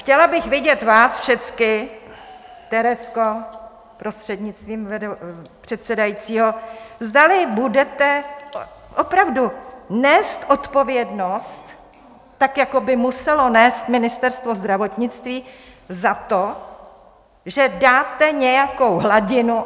Chtěla bych vidět vás všecky, Terezko, prostřednictvím předsedajícího, zda budete opravdu nést odpovědnost, tak jako by muselo nést Ministerstvo zdravotnictví, za to, že dáte nějakou hladinu.